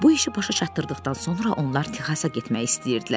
Bu işi başa çatdırdıqdan sonra onlar Texasa getmək istəyirdilər.